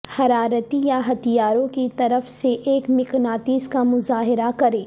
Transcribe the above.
حرارتی یا ہتھیاروں کی طرف سے ایک مقناطیس کا مظاہرہ کریں